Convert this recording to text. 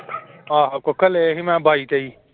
ਆਹੋ ਕੁੱਕੜ ਲਏ ਸੀ ਮੈਂ ਬਾਈ ਤੇਈ।